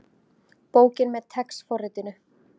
Bókin með TeX forritinu.